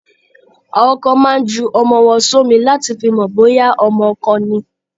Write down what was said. Àwọn kan máa ń ju ọmọ wọn sómi láti fi mọ bóyá ọmọ ọkọ ni.